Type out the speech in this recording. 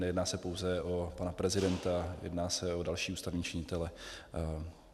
Nejedná se pouze o pana prezidenta, jedná se o další ústavní činitele.